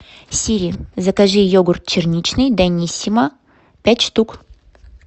сири закажи йогурт черничный даниссимо пять штук